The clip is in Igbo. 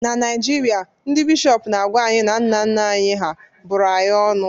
na Naijirịa, ndị bishọp na-agwa anyị na nna nna anyị hà bụrụ anyị ọnụ